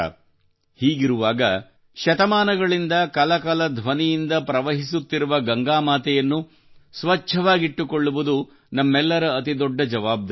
ಹೀಗಿರುವಾಗ ಶತಮಾನಗಳಿಂದ ಕಲ ಕಲ ಧ್ವನಿಯಿಂದ ಪ್ರವಹಿಸುತ್ತಿರುವ ಗಂಗಾ ಮಾತೆಯನ್ನು ಸ್ವಚ್ಛವಾಗಿಟ್ಟುಕೊಳ್ಳುವುದು ನಮ್ಮೆಲ್ಲರ ಅತಿ ದೊಡ್ಡ ಜವಾಬ್ದಾರಿಯಾಗಿದೆ